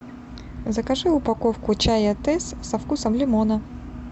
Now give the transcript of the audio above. закажи упаковку чая тесс со вкусом лимона